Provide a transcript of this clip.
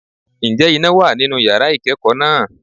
Ǹjẹ́ iná wà nínú yàrá ìkẹ́kọ̀ọ́ náà?